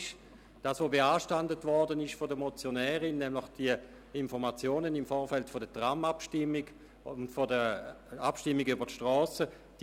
Die Motionärin beanstandet die Informationen im Vorfeld der Tram-Abstimmung und der Abstimmung über den Strassenneubau im Oberaargau.